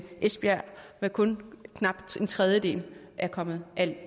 esbjerg med kun knap en tredjedel er kommet